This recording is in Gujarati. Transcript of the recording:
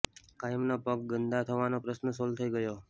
કાયમનો પગ ગંદા થવાનો પ્રશ્ર્ન સોલ થઈ ગયો